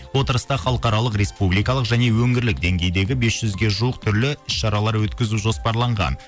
отырыста халықаралық республикалық және өңірлік деңгейдегі бес жүзге жуық түрлі іс шаралар өткізу жоспарланған